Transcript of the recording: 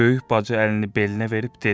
Böyük bacı əlini belinə verib dedi.